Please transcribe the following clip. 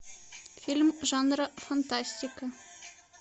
фильм жанра фантастика